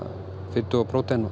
fitu og prótein og